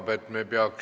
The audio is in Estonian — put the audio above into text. Hea ettekandja!